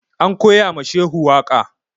An koya ma Shehu waƙa